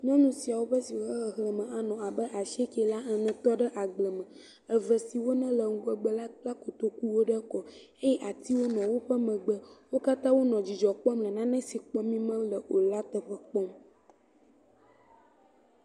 Nyɔnu siawo ƒe xexlẽme anɔ abe asi ge la ene tɔ ɖe agble me. Eve siwo ne le ŋgɔgbe la kpla kotoku ɖe ekɔ meeye atiwo nɔ woƒe megbe. Wo katã wò nɔ dzidzɔ kpɔm le nane si mí kpɔm me o la, la teƒe kpɔm.